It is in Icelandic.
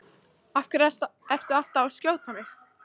Af hverju ertu alltaf að skjóta á mig?